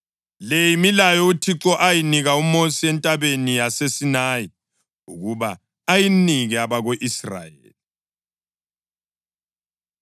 Le yimilayo uThixo ayinika uMosi entabeni yaseSinayi ukuba ayinike abako-Israyeli.